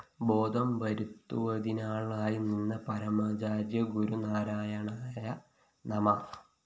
ബോധം വരുത്തുവതിനാളായി നിന്ന പരമാചാര്യ ഗുരു നാരായണായ നമഃ